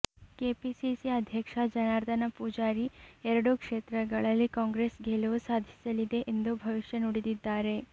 KPCC ಅಧ್ಯಕ್ಷ ಜನಾರ್ದನ ಪೂಜಾರಿ ಎರಡೂ ಕ್ಷೇತ್ರಗಳಲ್ಲಿ ಕಾಂಗ್ರೆಸ್ ಗೆಲುವು ಸಾಧಿಸಲಿದೆ ಎಂದು ಭವಿಷ್ಯ ನುಡಿದಿದ್ದಾರೆ